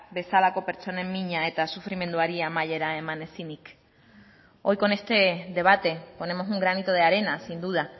bezalako pertsonen mina eta sufrimenduari amaiera eman ezinik hoy con este debate ponemos un granito de arena sin duda